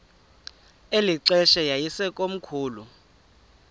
eli xesha yayisekomkhulu